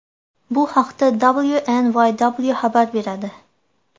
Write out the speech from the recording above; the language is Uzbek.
Bu haqda WNYW xabar beradi .